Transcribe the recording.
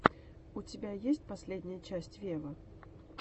у тебя есть последняя часть вево